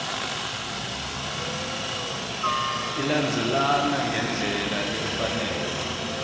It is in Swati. ilandzelana ngendlela lefanele